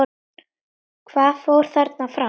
Hvað fór þarna fram?